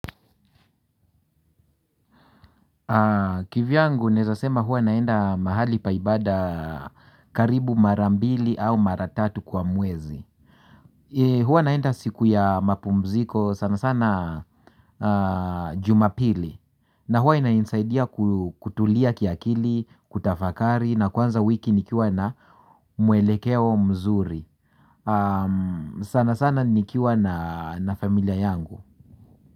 Kivyangu naeza sema huwa naenda mahali pa ibada karibu mara mbili au mara tatu kwa mwezi. Huwa naenda siku ya mapumziko sana sana jumapili. Na huwa inainsaidia kutulia kiakili, kutafakari na kwanza wiki nikiwa na mwelekeo mzuri. Sana sana nikiwa na familia yangu.